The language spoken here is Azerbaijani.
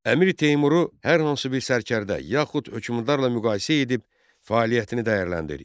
Əmir Teymuru hər hansı bir sərkərdə yaxud hökmdarla müqayisə edib fəaliyyətini dəyərləndir.